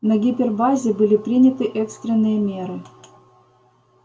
на гипербазе были приняты экстренные меры